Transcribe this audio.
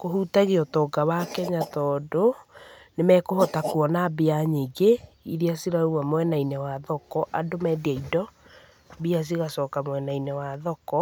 Kũhutagia ũtonga wa Kenya, tondũ nĩmekũhota kuona mbia nyingĩ iria cirauma mwena-inĩ wa thoko, andũ mendia indo, mbia cigacoka mwena-inĩ wa thoko